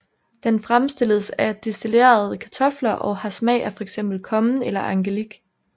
Den fremstilles af destillerede kartofler og har smag af fx kommen eller angelik